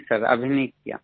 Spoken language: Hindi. नहीं सर अभी नहीं किया